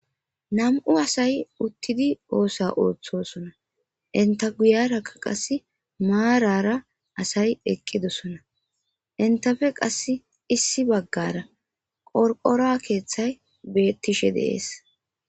nam7u asay uttidi oosa ooththosona inta guyarakka qasse maarara asay eqqidosona intafe qas issi baggara qorqora keeththay beettishe deees